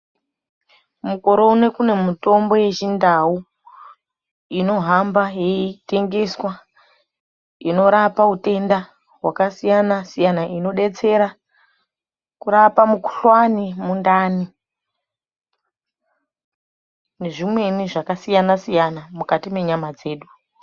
Makore ano kune mitombo yechindau inohambe yeitengeswa inorape utenda hwakasiyana siyana, inodetsera kurape mikhuhlani, mundani nezvimweni zvakasiyana-siyana mukati mwenyama dzedu.